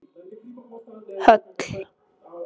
Höll